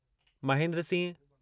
Mahendra Singh